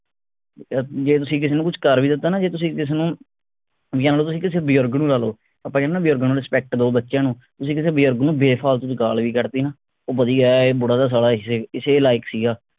ਅਹ ਜੇ ਤੁਸੀ ਕਿਸੇ ਨੂੰ ਕੁਛ ਕਰ ਵੀ ਦਿੱਤਾ ਨਾ ਜੇ ਕਿਸੇ ਨੂੰ ਲੋ ਤੁਸੀ ਕਿਸੇ ਬਜੁਰਗ ਨੂੰ ਲਾਲੋ ਆਪਾ ਕਹਿੰਦੇ ਆ ਨਾ ਬਜ਼ੁਰਗਾਂ ਨੂੰ respect ਦੋ ਬੱਚਿਆਂ ਨੂੰ ਤੁਸੀ ਕਿਸੇ ਬਜੁਰਗ ਨੂੰ ਬੇ ਫਾਲਤੂ ਦੀ ਗਾਲ ਵੀ ਕੱਢ ਤੀ ਨਾ ਉਹ ਵਧੀਆ ਐ ਇਹ ਬੁੱਢਾ ਤਾ ਸਾਲਾ ਇਸੇ ਇਸੇ ਲਾਇਕ ਸੀਗਾ